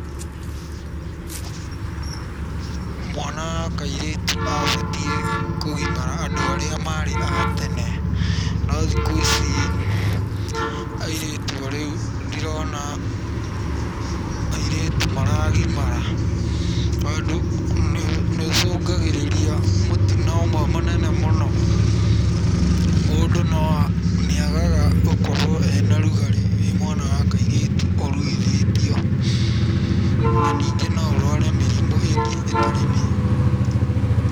Mwana wa kairĩtu abatiĩ kũgimara andũ arĩa marĩ a tene, no thikũ ici airĩtu a rĩu, ndirona, airĩtu maragimara, tondũ nĩũcũngagĩrĩria mũtino ũmwe mũnene mũno, mũndũ nĩagaga gũkorwo ena rugarĩ wĩ mwana wa kairĩtu ũruithĩtio, na ningĩ no ũrware mĩrimũ ĩngĩ ĩtarĩ mĩega.